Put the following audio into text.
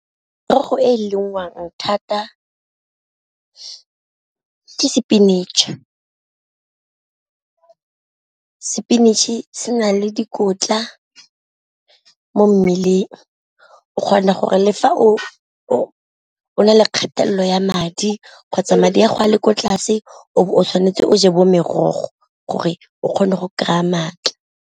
Merogo e e lengwang thata ke spinach, spinach e se na le dikotla mo mmeleng o kgona gore le fa o o na le kgathelelo ya madi kgotsa madi a gago a le ko tlase o tshwanetse o je bo merogo gore o kgone go kry-a maatla.